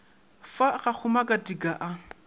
fa ga go makatika a